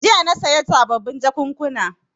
Jiya na saya sababin jakunkuna.